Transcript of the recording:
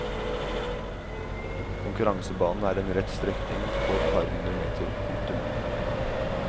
Konkurransebanen er en rett strekning på et par hundre meter. punktum